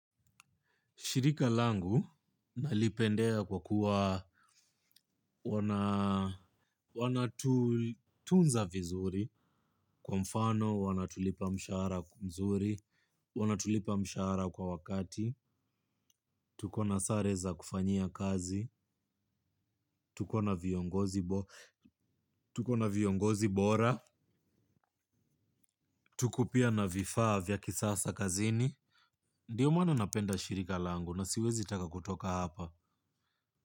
Shirika langu nalipendea kwa kuwa wana tunza vizuri kwa mfano, wanatulipa mshara kwa mzuri, wanatulipa mshara kwa wakati. Tuko na sare za kufanyia kazi, tuko na viongozi bora, tuko pia na vifaa vya kisasa kazini. Ndiyo maana napenda shirika langu na siwezi taka kutoka hapa.